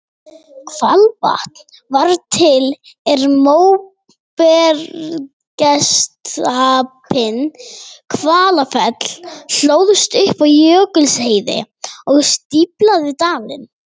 Hvalvatn varð til er móbergsstapinn Hvalfell hlóðst upp á jökulskeiði og stíflaði dalinn.